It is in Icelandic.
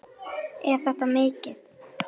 Er þetta mikið?